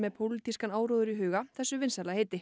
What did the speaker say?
pólitískan áróður í huga þessu vinsæla heiti